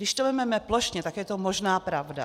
Když to vezmeme plošně, tak je to možná pravda.